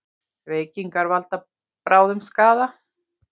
Reykingar valda bráðum skaða